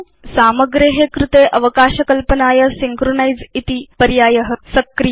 सामग्रे कृते अवकाश कल्पनाय सिंक्रोनाइज़ इति पर्याय सक्रिय